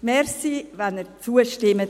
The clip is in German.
Danke, wenn Sie hier zustimmen.